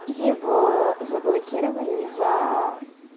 его заблокировали за